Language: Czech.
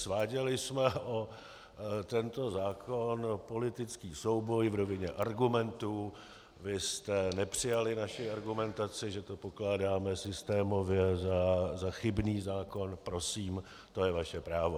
Sváděli jsme o tento zákon politický souboj v rovině argumentů, vy jste nepřijali naši argumentaci, že to pokládáme systémově za chybný zákon, prosím, to je vaše právo.